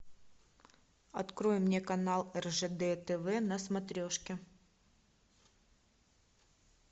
открой мне канал ржд тв на смотрешке